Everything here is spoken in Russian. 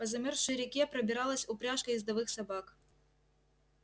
по замёрзшей реке пробиралась упряжка ездовых собак